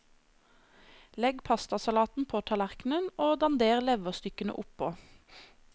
Legg pastasalaten på tallerkenen og dander leverstykkene oppå.